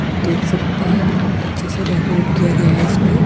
आप देख सकते हैं बहुत अच्छे से डेकोरेट किया गया है इसको।